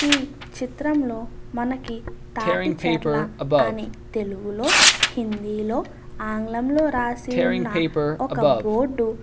ఈ చిత్రంలో మనకి తాటిచెర్ల అని తెలుగులో హిందీలో ఆంగ్లంలో రాసి ఉన్న ఒక బోర్డు --